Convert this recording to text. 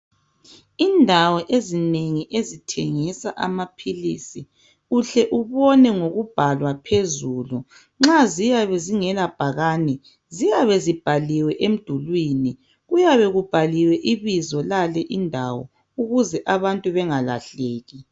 Indawo ezinengi ezithengisa amaphilisi uhle ubone ngokubhalwa phezulu. Nxa siyabezingela bhakane ziyabezibhaliwe emdulwini kuyabe kubhaliwe ibizo lale indawo ukuze abantu bengalahleki.